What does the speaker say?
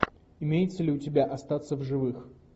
имеется ли у тебя остаться в живых